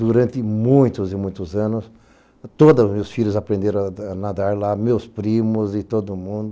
Durante muitos e muitos anos, todos os meus filhos aprenderam a nadar lá, meus primos e todo mundo.